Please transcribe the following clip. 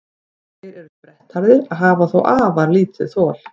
Þeir eru sprettharðir en hafa þó afar lítið þol.